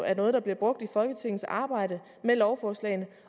er noget der bliver brugt i folketingets arbejde med lovforslag